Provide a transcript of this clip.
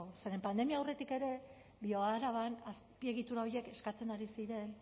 zeren pandemia aurretik ere bioaraban azpiegitura horiek eskatzen ari ziren